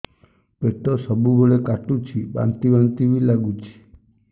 ପେଟ ସବୁବେଳେ କାଟୁଚି ବାନ୍ତି ବାନ୍ତି ବି ଲାଗୁଛି